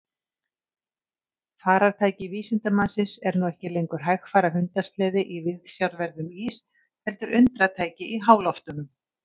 Farartæki vísindamannsins er nú ekki lengur hægfara hundasleði í viðsjárverðum ís heldur undratæki í háloftunum.